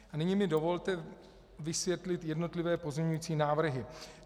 A nyní mi dovolte vysvětlit jednotlivé pozměňující návrhy.